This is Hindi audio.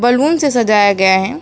बैलून से सजाया गया है।